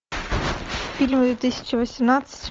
фильмы две тысячи восемнадцать